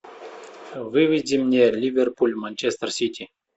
выведи мне ливерпуль манчестер сити